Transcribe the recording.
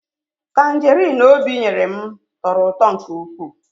Tanjerin Obi nyere m tọrọ ụtọ nke ụkwụ